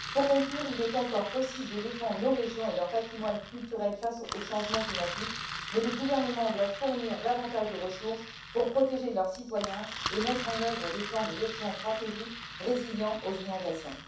Pour conclure, il est encore possible de défendre nos régions et leur patrimoine culturel face au changement climatique, mais les gouvernements doivent fournir davantage de ressources pour protéger leurs citoyens et mettre en œuvre des plans de gestion stratégiques résilients aux inondations.